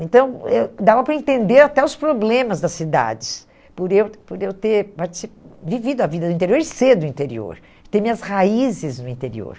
Então, eu dava para entender até os problemas das cidades, por eu por eu ter partici vivido a vida do interior e ser do interior, ter minhas raízes no interior.